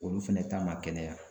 Olu fɛnɛ ta ma kɛnɛya